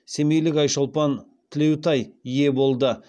семейлік айшолпан тілеутай ие болды